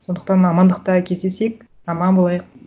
сондықтан амандықта кездесейік аман болайық